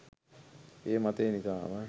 මේ මතය නිසාම